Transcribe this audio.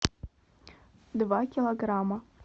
два килограмма